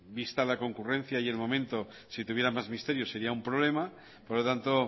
vista la concurrencia y el momento si tuviera más misterio sería un problema por lo tanto